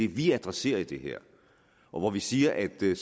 vi adresserer i det her og hvor vi siger at det